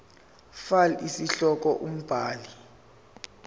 fal isihloko umbhali